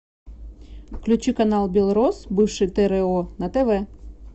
включи канал белрос бывший тро на тв